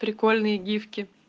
прикольные гифки